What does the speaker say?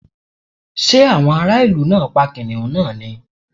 Ṣé àwọn ará ìlú náà pa kìnnìún náà ni?